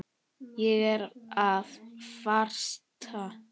Ég er að farast.